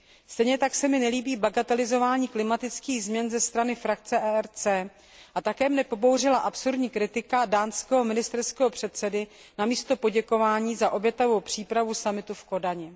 Stejně tak se mi nelíbí bagatelizování klimatických změn ze strany frakce ERC a také mne pobouřila absurdní kritika dánského ministerského předsedy namísto poděkování za obětavou přípravu summitu v Kodani.